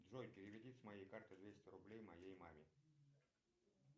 джой переведи с моей карты двести рублей моей маме